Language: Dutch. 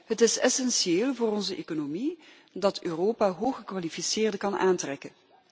Het is essentieel voor onze economie dat Europa hooggekwalificeerden kan aantrekken.